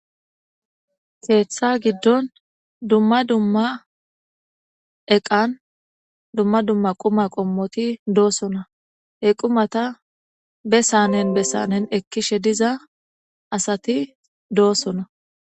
Keeththa giddon dumma dumma eqan dumma dumma quma qommoti doosona he qumata bessanen bessanen ekkishe diza asati doossona.